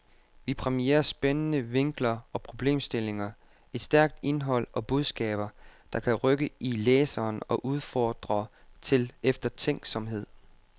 Vi præmierer spændende vinkler og problemstillinger, et stærkt indhold og budskaber, der kan rykke i læseren og udfordre til eftertænksomhed.